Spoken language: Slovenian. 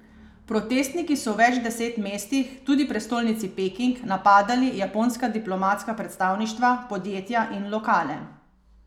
Protestniki so v več deset mestih, tudi prestolnici Peking, napadali japonska diplomatska predstavništva, podjetja in lokale.